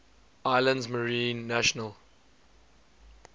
islands marine national